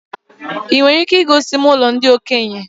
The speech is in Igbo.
I nwere ike igosi ụlọ ndị okenye?